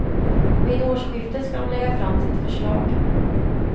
Vid årsskiftet ska de lägga fram sitt förslag.